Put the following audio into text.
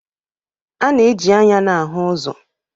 A na-eji anya na-ahụ ụzọ